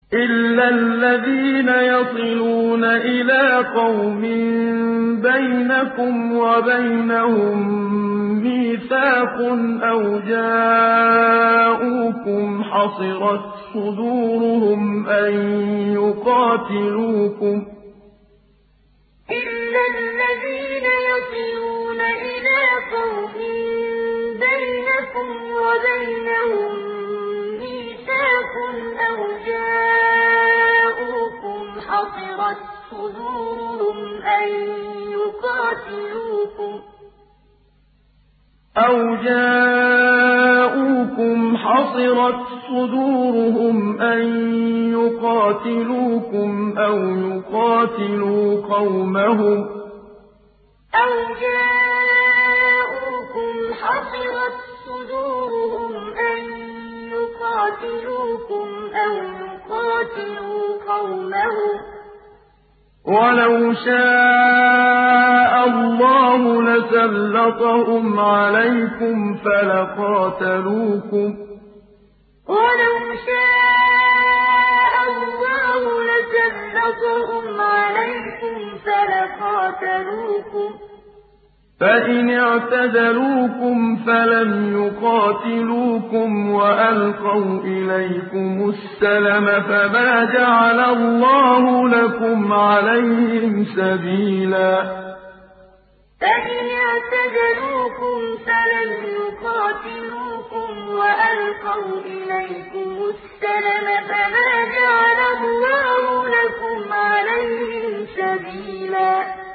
إِلَّا الَّذِينَ يَصِلُونَ إِلَىٰ قَوْمٍ بَيْنَكُمْ وَبَيْنَهُم مِّيثَاقٌ أَوْ جَاءُوكُمْ حَصِرَتْ صُدُورُهُمْ أَن يُقَاتِلُوكُمْ أَوْ يُقَاتِلُوا قَوْمَهُمْ ۚ وَلَوْ شَاءَ اللَّهُ لَسَلَّطَهُمْ عَلَيْكُمْ فَلَقَاتَلُوكُمْ ۚ فَإِنِ اعْتَزَلُوكُمْ فَلَمْ يُقَاتِلُوكُمْ وَأَلْقَوْا إِلَيْكُمُ السَّلَمَ فَمَا جَعَلَ اللَّهُ لَكُمْ عَلَيْهِمْ سَبِيلًا إِلَّا الَّذِينَ يَصِلُونَ إِلَىٰ قَوْمٍ بَيْنَكُمْ وَبَيْنَهُم مِّيثَاقٌ أَوْ جَاءُوكُمْ حَصِرَتْ صُدُورُهُمْ أَن يُقَاتِلُوكُمْ أَوْ يُقَاتِلُوا قَوْمَهُمْ ۚ وَلَوْ شَاءَ اللَّهُ لَسَلَّطَهُمْ عَلَيْكُمْ فَلَقَاتَلُوكُمْ ۚ فَإِنِ اعْتَزَلُوكُمْ فَلَمْ يُقَاتِلُوكُمْ وَأَلْقَوْا إِلَيْكُمُ السَّلَمَ فَمَا جَعَلَ اللَّهُ لَكُمْ عَلَيْهِمْ سَبِيلًا